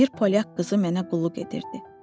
Bir polyak qızı mənə qulluq edirdi.